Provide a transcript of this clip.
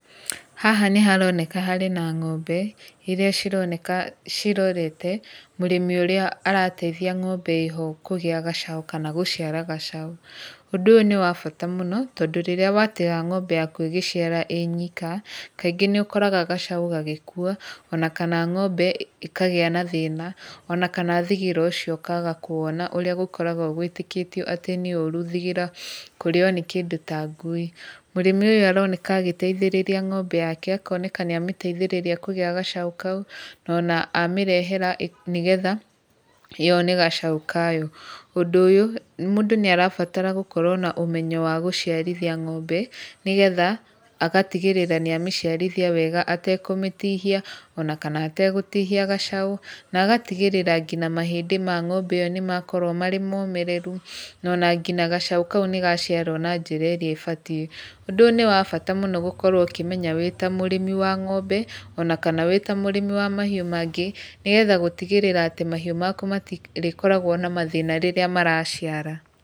Haha nĩ haroneka harĩ ng'ombe, ĩrĩa cironeka cirorete, mũrĩmi ũrĩa arateithia ng'ombe ĩho kũgĩa gacaũ kana gũciara gacaũ. Ũndũ ũyũ nĩ wa bata mũno tondũ rĩrĩa wateha ng'ombe yaku ĩgĩciara ĩnyika, kaingĩ nĩ ũkoraga gacau gagĩkua, ona kana ng'ombe ĩkagĩa na thĩna, kana thigira ũcio ũkaga kũwona ũrĩa gũkoragwo wĩtĩkĩtio atĩ nĩ ũru thigira, kũrĩyo nĩ kĩndũ ta ngui. Mũrĩmi ũyũ nĩ aroneka agĩteithĩrĩrĩa ng'ombe yake, akoneka nĩ amĩteithĩrĩria kũgĩa gacaũ kau. No ona amĩrehera nĩgetha, yone gacau kayo. Ũndũ ũyũ, mũndũ nĩ agĩrĩirwo nĩ kũmenya ũgĩ wa gũciarithia ngombe, nĩgetha agatigĩrĩra nĩ amĩciarithia wega etekũmĩtihia ona kana etegũtihia gacaũ. Na agatigĩrĩra ngina mahĩndĩ ma ng'ombe ĩyo nĩmakorwo marĩ momĩrĩru, no ona ngina gacau kau nĩgaciarwo na njĩra ĩrĩa ĩbatiĩ. Ũndũ ũyũ nĩ wa bata mũno gũkorwo ũkĩmenya wĩta mũrĩmi wa ng'ombe ona kana wĩmũrĩmi wa mahiũ mangĩ. Nĩgetha gũtigĩrĩra atĩ mahiũ maku matirĩkoragwo na mathĩna rĩrĩa maraciara.